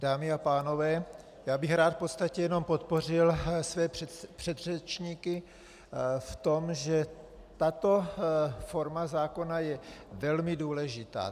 Dámy a pánové, já bych rád v podstatě jenom podpořil své předřečníky v tom, že tato forma zákona je velmi důležitá.